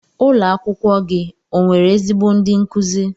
Ụlo akwụkwọ gi onwere ezigbo ndi nkuzi?